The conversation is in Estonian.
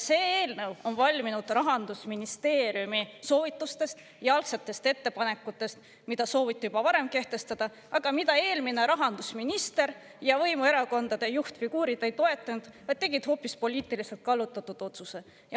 See eelnõu on valminud Rahandusministeeriumi soovitustest ja algsetest ettepanekutest, mida sooviti juba varem kehtestada, aga mida eelmine rahandusminister ja võimuerakondade juhtfiguurid ei toetanud, vaid tegid hoopis poliitiliselt kallutatud otsuse.